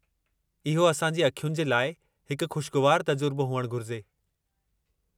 इहो असां जी अखियुनि जे लाइ हिकु खु़शिगवारु तजुर्बो हुअणु घुरिजे।